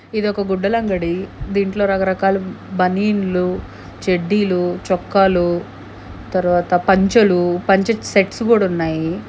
ఇదొక గుడ్డలంగడి దీంట్లో రకరకాలు బనీన్లు చెడ్డీలు చొక్కాలు తర్వాత పంచలు పంచ సెట్స్ కూడా ఉన్నాయి.